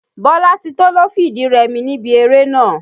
Bọ́látító ló fìdí rẹmi níbi eré nàá.